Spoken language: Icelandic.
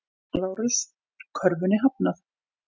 LÁRUS: Kröfunni hafnað!